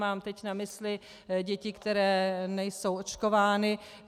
Mám teď na mysli děti, které nejsou očkovány.